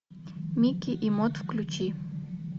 микки и мот включи